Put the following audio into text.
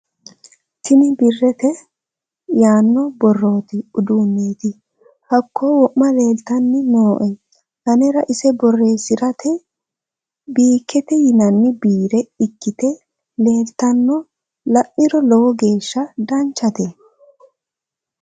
tini biirete yaano borrote uduunneeti baakko wo'ma leeltanni nooe anera ise borreessirate biikete yinanni biire ikkite leeltanno la'niro lowo geeshsha danchate